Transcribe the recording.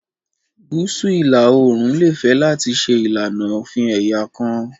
Gúúsù ìlà-oòrùn lè fẹ́ láti ṣe ìlànà òfin ẹ̀yà kan